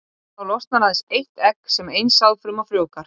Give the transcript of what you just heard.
Þá losnar aðeins eitt egg sem ein sáðfruma frjóvgar.